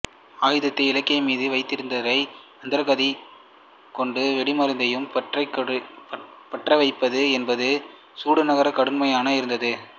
ஆயுதத்தை இலக்கின்மீது வைத்திருந்தவாறே மந்தகதித் திரியை கொண்டு வெடிமருந்தையும் பற்றவைப்பது என்பது சுடுநருக்கு கடினமாக இருந்தது